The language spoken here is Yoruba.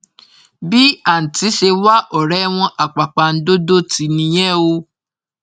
bí àǹtí ṣe wá ọrẹ wọn àpàpàǹdodo tì nìyẹn o